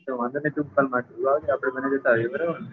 તો વાંધો નઈ તું કાલ માર ભેગો આપને બંને જતા રેસો